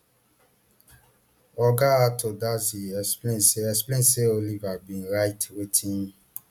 oga ato dadzie explain say explain say oliver bin write wetin